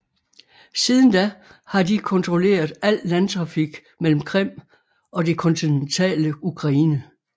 Siden da har de kontrolleret al landtrafik mellem Krim og det kontinentale Ukraine